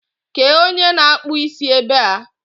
kéé onye na akpụ isi é ba a?